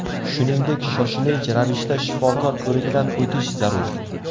Shuningdek, shoshilinch ravishda shifokor ko‘rigidan o‘tish zarur.